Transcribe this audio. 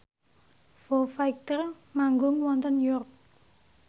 Foo Fighter manggung wonten York